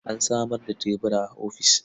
An samar da tebura a ofis.